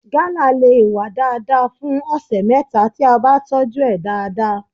Gala le wá dáadáa fún ọ̀sẹ̀ mẹ́ta tí a bá tọ́jú ẹ̀ dáadáa.